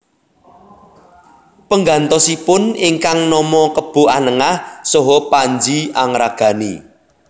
Penggantosipun ingkang nama Kebo Anengah saha Panji Angragani